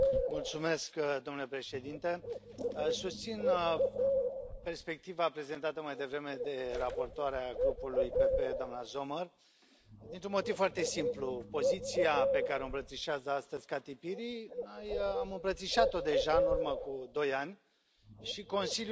Domnule președinte, susțin perspectiva prezentată mai devreme de raportoarea grupului PPE, doamna Sommer, dintr un motiv foarte simplu poziția pe care o îmbrățișează astăzi Kati Piri, noi am îmbrățișat o deja în urmă cu 2 ani și Consiliul ne a ignorat.